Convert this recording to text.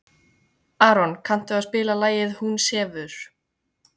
Aron, kanntu að spila lagið „Hún sefur“?